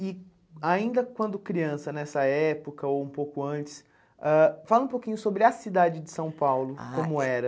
E ainda quando criança, nessa época ou um pouco antes, ãh fala um pouquinho sobre a cidade de São Paulo, como era.